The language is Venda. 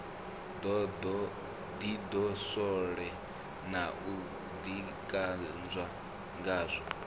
ḓidoswole na u ḓikanzwa ngazwo